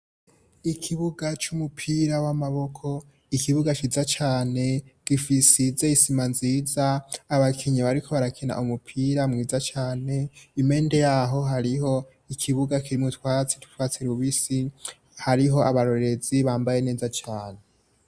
Ikibuga c'umupira w'amaboko ikibuga ciza cane gisize isima nziza abakinyi bariko barakina umupira mwiza cane impande yaho hariho ikibuga kirimwo utwatsi tw'utwatsi rubisi hariho abarorezi bambaye neza cane.